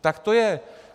Tak to je!